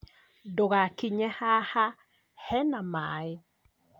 Ndũgakinye haha hena maĩ